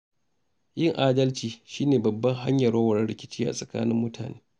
Yin adalci shi ne babbar hanyar warware rikici a tsakanin mutane.